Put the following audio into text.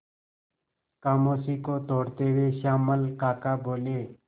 खामोशी को तोड़ते हुए श्यामल काका बोले